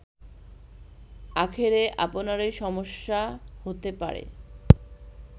আখেরে আপনারই সমস্যা হতে পারে